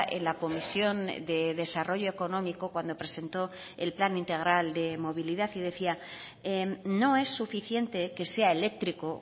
en la comisión de desarrollo económico cuando presentó el plan integral de movilidad y decía no es suficiente que sea eléctrico